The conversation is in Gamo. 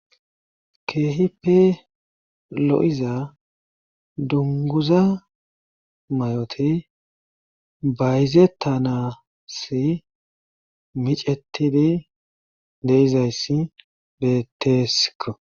Keehipe lo7iza dunguza may7oti bayzetanasi micetidi deizayssi betteesko